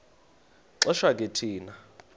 xesha ke thina